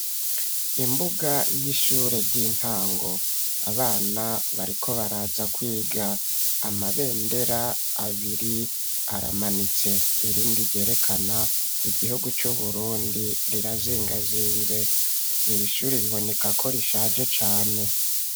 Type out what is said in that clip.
Imbuga y'ishure ry'intango abana, bariko baraza kwiga, amabendera abiri, aramanitse irindi, ryerekana igihugu c'Uburundi, rirazingazinze, iri shure biboneka ko, rishaje cane.